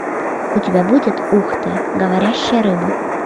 у тебя будет ух ты говорящая рыба